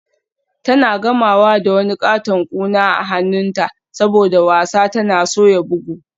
Tana gamawa da wani katon kuna a hannunta saboda wasa tana soya bugu.